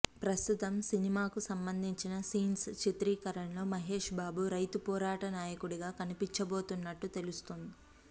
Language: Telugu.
ప్రస్తుతం సినిమాకు సంబంధింన సీన్స్ చిత్రీకరణలో మహేష్ బాబు రైతు పోరాట నాయకుడిగా కనిపించబోతున్నట్లుగా తెలుస్తోంది